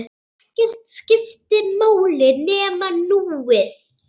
Ekkert skipti máli nema núið.